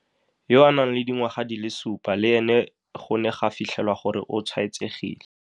yo a nang le dingwaga di le supa le ene go ne ga fitlhelwa gore o tshwaetsegile.